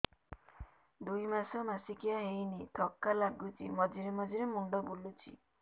ଦୁଇ ମାସ ମାସିକିଆ ହେଇନି ଥକା ଲାଗୁଚି ମଝିରେ ମଝିରେ ମୁଣ୍ଡ ବୁଲୁଛି